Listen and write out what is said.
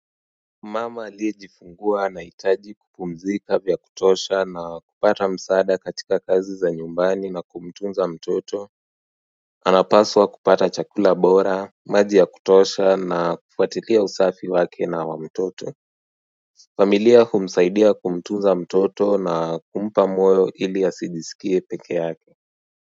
Mama aliyejifungua anahitaji kupumzika vyakutosha na kupata msaada katika kazi za nyumbani na kumtunza mtoto anapaswa kupata chakula bora maji ya kutosha na kufatilia usafi wake na wa mtoto familia kumsaidia kumtunza mtoto na kumpa moyo ili asijisikie peke yake.